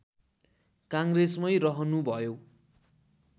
काङ्ग्रेसमै रहनुभयो